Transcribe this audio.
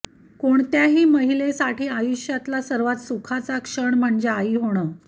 कोणत्याही महिलेसाठी आयुष्यातला सर्वात सुखाचा क्षण म्हणजे आई होणं